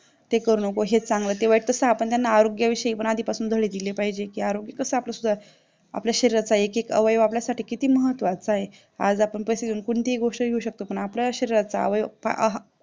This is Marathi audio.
हे करू नको हे चांगलं ते वाईट तसं आपण त्यांना आरोग्याविषयी पण धडे दिले पाहिजेत कि आरोग्य कास आपलं सुधरेल कि आपल्या शारीवरचा एकेक अवयव आपल्यासाठी किती महत्याचा आहे आज आपण पैसे देऊन कोणतीही गोष्ट घेऊ शकतो पण आपल्या शरीराचा अवयव हा